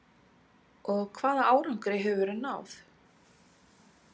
Og hvaða árangri hefur verið náð?